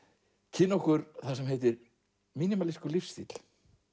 kynna okkur það sem heitir lífstíll